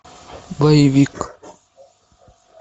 боевик